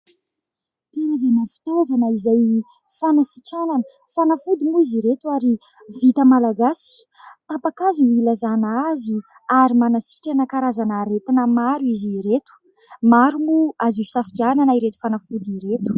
Karazana fitaovana izay fanasitranana. Fanafody moa izy ireto ary vita malagasy. Tapa-kazo no hilazàna azy ary manasitrana karazana aretina maro izy ireto. Maro moa azo hisafidianana ireto fanafody ireto.